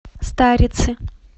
старицы